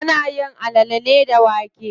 Ana yin alale ne da wake.